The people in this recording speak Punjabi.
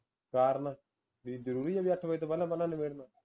ਕਾਰਨ ਬਈ ਜਰੂਰੀ ਹੈ ਬਈ ਅੱਠ ਵਜੇ ਤੋਂ ਪਹਿਲਾਂ ਪਹਿਲਾਂ ਨਬੇੜਨਾ